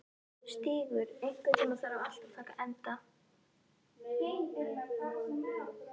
Stígur, einhvern tímann þarf allt að taka enda.